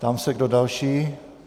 Ptám se, kdo další.